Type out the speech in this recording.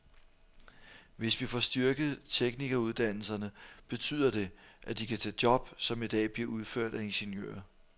Hvis vi får styrket teknikeruddannelserne, betyder det, at de kan tage job, som i dag bliver udført af ingeniører.